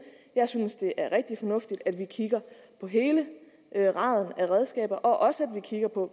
jeg synes det er rigtig fornuftigt at vi kigger på hele raden af redskaber også at vi kigger på